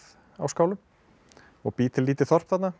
á skálum og bý til lítið þorp þarna